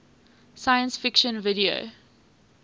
science fiction video